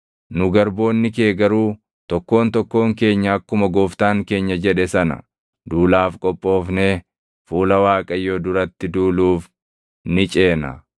Nu garboonni kee garuu tokkoon tokkoon keenya akkuma gooftaan keenya jedhe sana duulaaf qophoofnee fuula Waaqayyoo duratti duuluuf ni ceena.”